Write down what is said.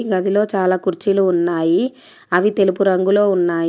ఈ గదిలో చాలా కుర్చీలు ఉన్నాయి అవి తెలుపు రంగులో ఉన్నాయి.